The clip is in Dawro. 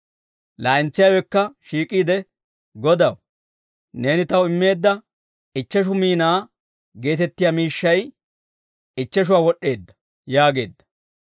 «Laa'entsiyaawekka shiik'iide, ‹Godaw, neeni taw immeedda ichcheshu miinaa geetettiyaa miishshay ichcheshuwaa wod'd'eedda› yaageedda.